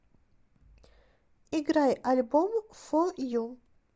играй альбом фо ю